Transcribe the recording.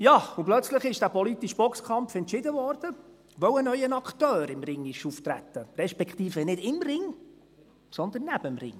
Ja, und plötzlich wurde dieser politische Boxkampf entschieden, weil im Ring ein neuer Akteur auftrat, respektive nicht Ring, sondern dem Ring.